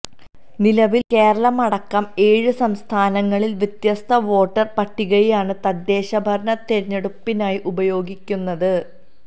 നിലവില് കേരളമടക്കം ഏഴ് സംസ്ഥാനങ്ങള് വ്യത്യസ്ത വോട്ടര് പട്ടികയാണ് തദ്ദേശഭരണ തിരഞ്ഞെടുപ്പിനായി ഉപയോഗിക്കുന്നത്